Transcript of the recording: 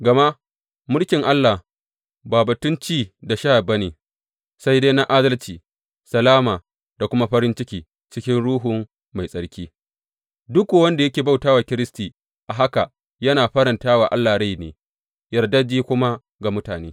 Gama mulkin Allah ba batun ci da sha ba ne, sai dai na adalci, salama, da kuma farin ciki cikin Ruhu Mai Tsarki, duk kuwa wanda yake bauta wa Kiristi a haka yana faranta wa Allah rai ne, yardajje kuma ga mutane.